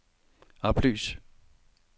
oplys